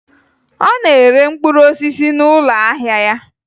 Ọ na-ere mkpụrụ osisi n'ụlọ ahịa ya